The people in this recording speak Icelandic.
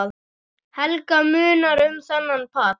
Helga: Munar um þennan pall?